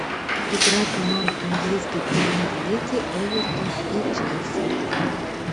игра команд английской премьер лиги эвертон и челси